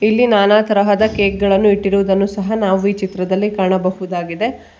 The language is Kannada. ಇಲ್ಲಿ ನಾನಾ ತರಹದ ಕೇಕ್ ಗಳನ್ನು ಇಟ್ಟಿರುವುದನ್ನು ಸಹ ನಾವು ಈ ಚಿತ್ರದಲ್ಲಿ ಕಾಣಬಹುದಾಗಿದೆ.